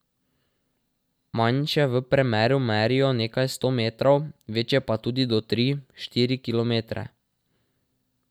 Manjše v premeru merijo nekaj sto metrov, večje pa tudi do tri, štiri kilometre.